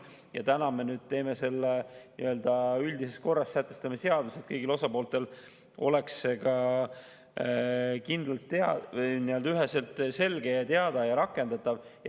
Ja täna me sätestame selle nii-öelda üldises korras seaduses, et kõigil osapooltel oleks see kindlalt, üheselt ja selgelt teada ja rakendatav.